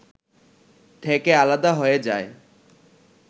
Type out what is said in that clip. থেকে আলাদা হয়ে যায়